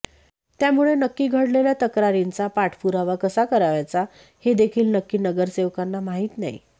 त्यामुळे नक्की घडलेल्या तक्रारींचा पाठपुरावा कसा करावयांचा हे देखिल नक्की नगरसेवकांना माहीत नाही